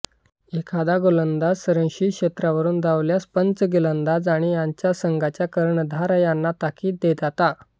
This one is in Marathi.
एखादा गोलंदाज संरक्षित क्षेत्रावरुन धावल्यास पंच गोलंदाज आणि त्याच्या संघाच्या कर्णधार यांना ताकीद देताता